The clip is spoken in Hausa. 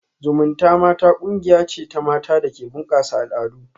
Zumunta mata kungiya ce ta mata da ke bunkasa al'adu